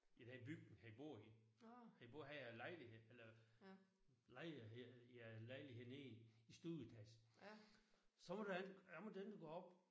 I den bygning han bor i han bor han bor havde lejlighed eller lejlighed ja lejlighed nede i i stueetagen. Så måtte han han måtte ikke gå op